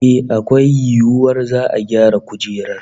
Eh, akwai yiwuwar za'a gyara kujerar